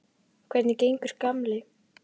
Hvernig gengur, gamli